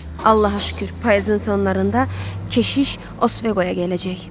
"Allaha şükür, payızın sonlarında keşiş Osveqoya gələcək.